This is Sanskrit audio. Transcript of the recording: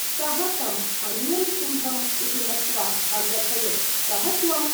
सः तं अन्यं सिंहंइति मत्वा अकथयत् कः त्वं?